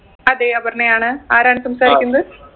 അതെ അപർണ്ണയാണ് ആരാണ് സംസാരിക്കുന്നത്